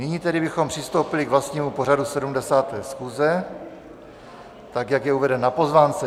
Nyní tedy bychom přistoupili k vlastnímu pořadu 70. schůze, tak jak je uveden na pozvánce.